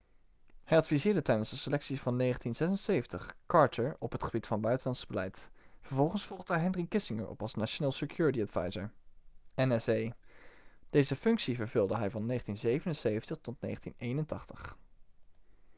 hij adviseerde tijdens de selecties van 1976 carter op het gebied van buitenlands beleid. vervolgens volgde hij henry kissinger op als national security advisor nsa; deze functie vervulde hij van 1977 tot 1981